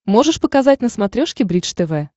можешь показать на смотрешке бридж тв